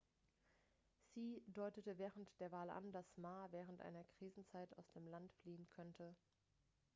hsieh deutete während der wahl an dass ma während einer krisenzeit aus dem land fliehen könnte